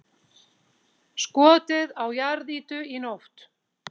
Skotið á jarðýtu í nótt